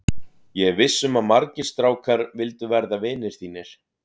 Ég er viss um að margir strákar vildu verða vinir þínir.